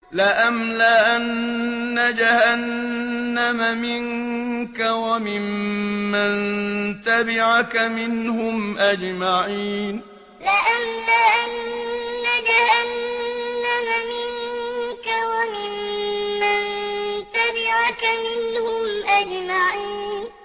لَأَمْلَأَنَّ جَهَنَّمَ مِنكَ وَمِمَّن تَبِعَكَ مِنْهُمْ أَجْمَعِينَ لَأَمْلَأَنَّ جَهَنَّمَ مِنكَ وَمِمَّن تَبِعَكَ مِنْهُمْ أَجْمَعِينَ